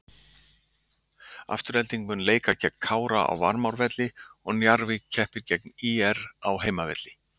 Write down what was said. Afturelding mun leika gegn Kára á Varmárvelli og Njarðvík keppir gegn ÍR á heimavelli.